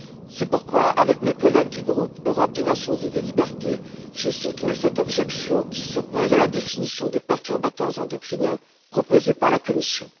C'est pourquoi, avec mes collègues du groupe Europe des Nations et des Libertés, j'ai soutenu cette objection qui s'oppose à la définition des perturbateurs endocriniens proposée par la Commission.